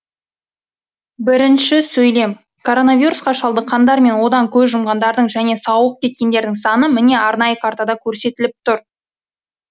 коронавирусқа шалдыққандар мен одан көз жұмғандардың және сауығып кеткендердің саны міне арнайы картада көрсетіліп тұр